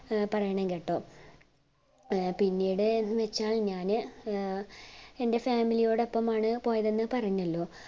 പറയണം കേട്ടോ പിന്നെടെന്ന്‌ വെച്ചത്‌ ഞാന് ഏർ എൻ്റെ family ഓടൊപ്പമാണ് പോയത് എന്നു പറഞ്ഞല്ലോ